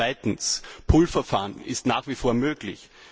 Zweitens Das Pull Verfahren ist nach wie vor möglich.